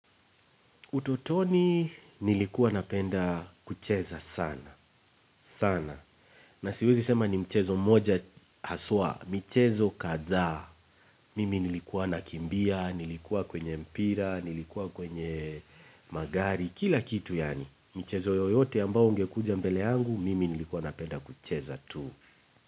Utotoni nilikuwa napenda kucheza sana, sana. Na siwezi sema ni mchezo moja haswa, michezo kadhaa. Mimi nilikuwa nakimbia, nilikuwa kwenye mpira, nilikuwa kwenye magari, kila kitu yaani. Mchezo yoyote ambao ungekuja mbele yangu, mimi nilikuwa napenda kucheza tu.